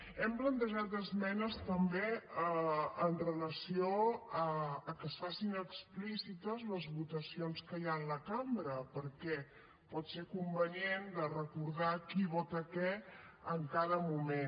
hem plantejat esmenes també amb relació a que es facin explícites les votacions que hi ha en la cambra perquè pot ser convenient de recordar qui vota què en cada moment